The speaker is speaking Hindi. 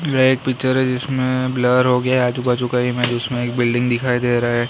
यह एक पिक्चर है इसमें ब्लर हो गया है आजू बाजू कहीं में उसमें एक बिल्डिंग दिखाई दे रहा है।